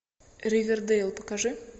ривердейл покажи